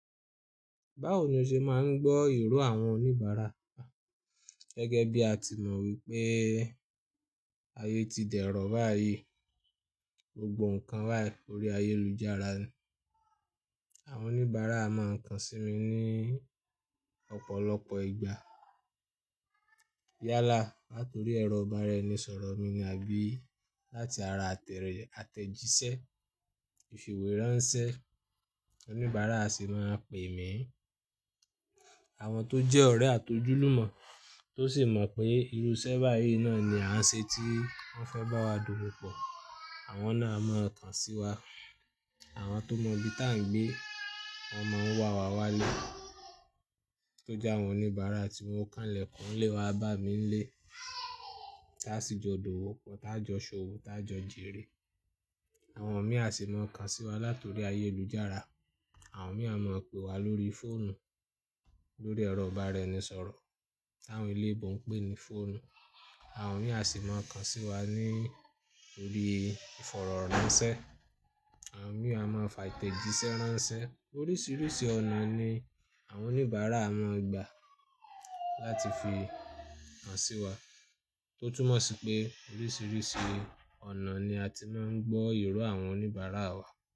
Báwo ni o ṣe máa ń gbọ́ ìró àwọn oníbàárà? Gẹ́gẹ́ bí a ti mọ wípé ayé ti dẹ̀rọ̀ báyìí, gbogbo ǹkan bai órí ayélujára. Àwọn oníbàárà máa ń kàn sí mi ní ọ̀pọ̀lọpọ̀ ìgbà. Yálà, latori ẹ̀rọ ìbáraẹnisọ̀rọ̀ mi ni àbí láti ara àtẹ̀jísẹ́, ìfìwéránsẹ́ oníbàárà sì máa ń pè mí. Àwọn tó jẹ́ ọ̀rẹ́ àtojúlùmọ́ tó sì mọ̀ pé irú isẹ́ báyìí náà ni à ń se tí wọ́n fẹ́ bá wa dòwò pọ̀, àwọn náà a máa kàn sí wa. Àwọn tó mọ ibi tá ń gbé, wọ́n mọ ń wà wá wálé. Tójá àwọn oníbàárà tí wọn o kànlẹ̀ kún le wá bá mi n lé, táa sì jọ dòwò pọ̀, tá jọ ṣòwò, tá jọ jèrè. Àwọn mì á sì máa kàn sí wa latori ayélujára. Àwọn mì á máa pè wá lórí fóònù lórí ẹ̀rọ ìbáraẹnisọ̀rọ̀ tí àwọn eleebò ń pè ní fóònù. Àwọn mì á sì máa kàn sí wa ní orí ìfọ̀rọ̀ránṣẹ́. Àwọn mì á máa fà ìtẹ̀jísẹ́ ránṣẹ́. Oríṣiríṣi ọ̀nà ni àwọn oníbàárà máa ń gbà láti fi kàn sí wa. Tó túmọ̀ sí pé oríṣiríṣi ọ̀nà ni a ti máa ń gbọ́ ìró àwọn oníbàárà wa.